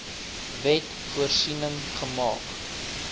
wet voorsiening gemaak